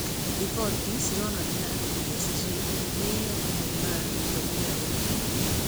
Riboti cironanagia atĩ PSG nĩ ĩheete Neymar gĩtũmi gĩa gũthiĩ.